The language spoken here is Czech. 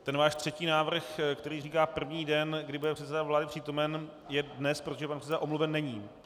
Ten váš třetí návrh, který říká první den, kdy bude předseda vlády přítomen, je dnes, protože pan předseda omluven není.